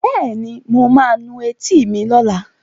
Bẹ́ẹ̀ni, mo ma nu etí mi lọ́la